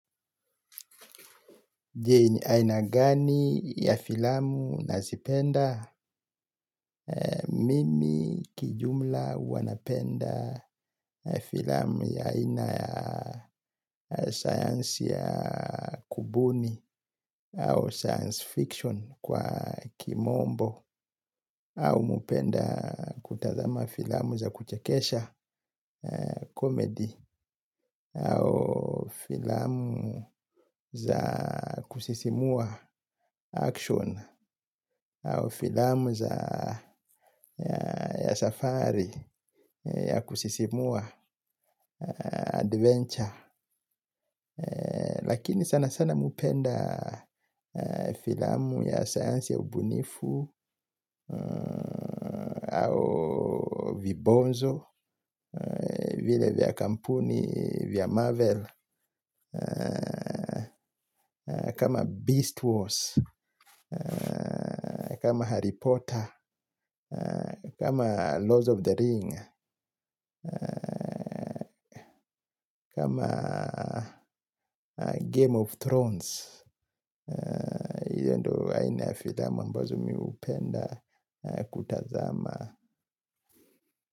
Aina gani ya filamu nazipenda? Mimi kijumla huwa napenda filamu ya aina ya sayansi ya kubuni au science fiction kwa kimombo au hupenda kutazama filamu za kuchekesha comedy au filamu za kusisimua action au filamu za safari ya kusisimua adventure lakini sana sana mi hupenda filamu ya science ya ubunifu au vibonzo vile vya kampuni vya marvel kama beast wars kama Harry Potter kama lords of the ring kama game of thrones iyo ndo aina ya filamu ambazo mi hupenda kutazama.